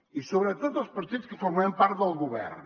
i sobretot els partits que formem part del govern